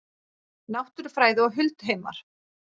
Náttúrufræði og hulduheimar